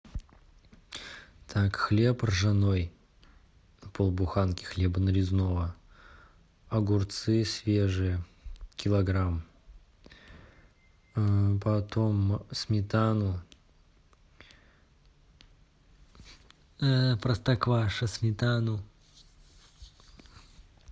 так хлеб ржаной полбуханки хлеба нарезного огурцы свежие килограмм потом сметану простокваша сметану